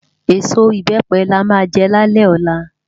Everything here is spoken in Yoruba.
Esó ibèpè lá má jè lálè òlá